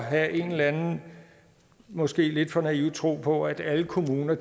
have en eller anden måske lidt for naiv tro på at alle kommuner